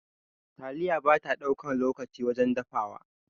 Taliya bata ɗaukan lokaci wajen dafawa.